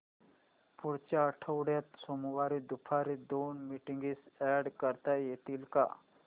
पुढच्या आठवड्यात सोमवारी दुपारी दोन मीटिंग्स अॅड करता येतील का